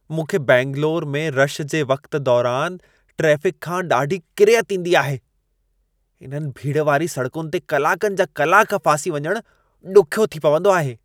मूंखे बैंगलोरु में रशु जे वक़्त दौरान ट्रैफ़िकु खां ॾाढी किरियत ईंदी आहे। इन्हनि भीड़ वारी सड़कुनि ते कलाकनि जा कलाक में फासी वञण ॾुख्यो थी पवंदो आहे।